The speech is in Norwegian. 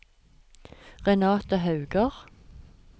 Renathe Hauger